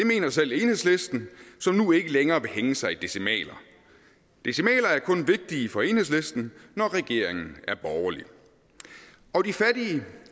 mener selv enhedslisten som nu ikke længere vil hænge sig i decimaler decimaler er kun vigtige for enhedslisten når regeringen er borgerlig og de fattige